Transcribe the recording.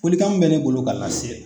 Folikan minu bɛ ne bolo k'a lase